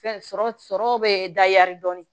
Fɛn sɔrɔ sɔrɔ bɛ dayɛri dɔɔni